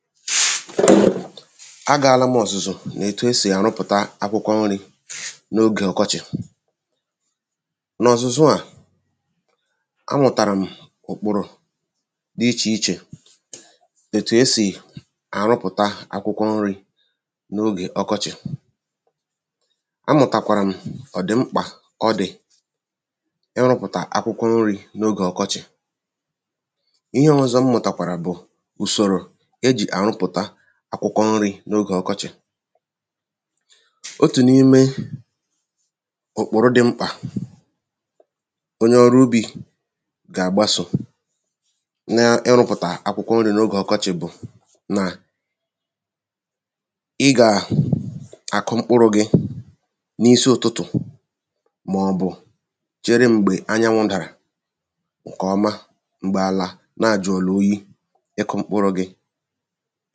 Shiii..kpōrōrō agaala m ọ̀zụ̀zụ̀ n’ètu e sì àrụpụ̀ta akwụkwọ nrī n’ogè ọkọchị̀ n’ọ̀zụ̀zụ́ à ámụ̀tàrụ̀ m̀ ụ̀kpụ́rụ̄ dị́ íchè íchè ètù e sì àrụpụ̀tá akwụkwọ nrī n’ogè ọkọchị̀ amùtàkwàrà m̀ ọ̀dị̀mkpà ọ dị̀ irụ̄pụ̀tà akwụkwọ nrī n’ogè ọkọchị̀ ihe ọ́zọ́ m mụ̀tàkwàrà bụ̀ ùsòrò e jì àrụpụ̀ta akwụkwọ nrī n’ogè ọkọchị̀ otù n’ime ụ̀kpụ̀rụ dị̄ mkpà onye ọrụ ubī gà--àgbasò nɪ́rʊ̄pʊ̀tà ákwʊ́kwɔ́ nrī nógè ɔ́kɔ́ʧɪ̀ bʊ̀ nà ị gà-àkụ mkpụrụ̄ gị̄ n’isi ụtụtụ̀ màọ̀bụ̀ chere m̀gbè anyanwụ̄ ̀dàrà ṅkè ọma m̀gbè àlà na-àjụ̀ọ̀là oyi ịkụ̄ mkpụrụ̄ gị̄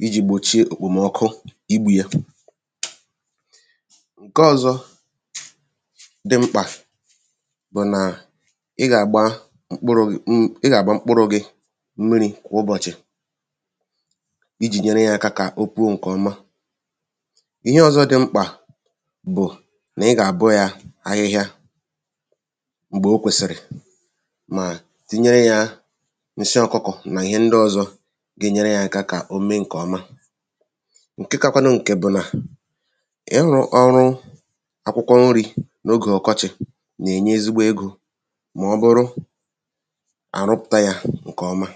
ijī gbòchie òkpòm̀ọkụ igbū yē ṅke ọ̄zọ̄ dị mkpà bụ nà ị gà-àgba mkpụrụ̄ gị̄ mm ị gà-àgba mkpụrụ̄ gị̄ ḿmírī kwà ụbọchị ijì nyere yā aka kà o puo ṅ̀kè ọma ihe ọ̀zọ dị́ mkpà bụ̀ nà ị gà-àbọ ya ahịhịa m̀gbè o kwèsị̀rị̀ mà tinyere yā ǹsị ọkụkọ̀ nà ihe ndị ọ̄zọ̄ ga-enyere yā aka kà o mee ṅ̀kè ọma ṅke kakwanụ ṅ̀kè bụ̀ nà ịrụ̄ ọ̄rụ̄ akwụkwọ nrī n’ogè ọkọchị̀ nà-ènye ezigbo egō màọ́bụrụ à rụpụ̀ta yā ǹkè ọma